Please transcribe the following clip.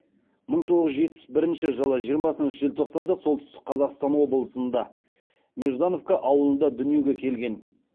мың тоғыз жүз жетпіс бірінші жылы жиырмасыншы желтоқсанда солтүстік қазақстан облысында неждановка ауылында дүниеге келген